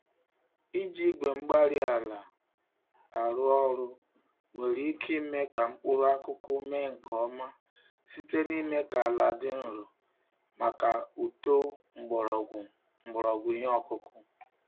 Iji igwe-mgbárí-ala arụ ọrụ nwere ike ime ka mkpụrụ akụkụ mee nke ọma site n'ime ka àlà dị nro màkà uto mgbọrọgwụ mgbọrọgwụ ìhè okụkụ